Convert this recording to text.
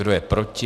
Kdo je proti?